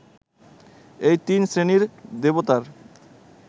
এই তিন শ্রেণীর দেবতার